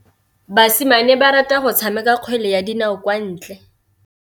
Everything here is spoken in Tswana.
Basimane ba rata go tshameka kgwele ya dinaô kwa ntle.